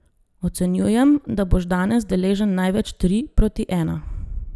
Ocenjujem, da boš danes deležen največ tri proti ena.